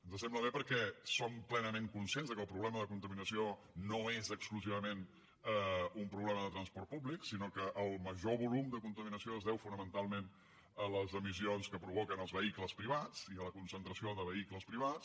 ens sembla bé perquè som plenament conscients que el problema de contaminació no és exclusivament un problema de transport públic sinó que el major volum de contaminació es deu fonamentalment a les emissions que provoquen els vehicles privats i a la concentració de vehicles privats